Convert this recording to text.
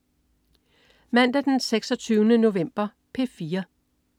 Mandag den 26. november - P4: